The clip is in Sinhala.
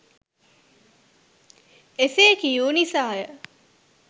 එසේකියූ නිසාය.